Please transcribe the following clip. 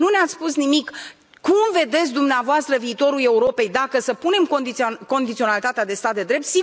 Nu ne ați spus nimic cum vedeți dumneavoastră viitorul Europei, dacă să punem condiționalitatea de stat de drept?